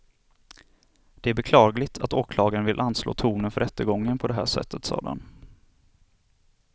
Det är beklagligt att åklagaren vill anslå tonen för rättegången på det här sättet, sade han.